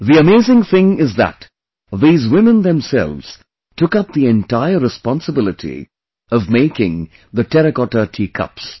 The amazing thing is that these women themselves took up the entire responsibility of making the Terracotta Tea Cups